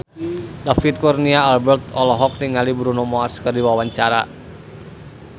David Kurnia Albert olohok ningali Bruno Mars keur diwawancara